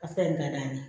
A fɛn ka d'an ye